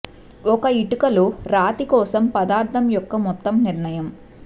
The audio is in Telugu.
ఒక ఇటుక లో రాతి కోసం పదార్థం యొక్క మొత్తం నిర్ణయం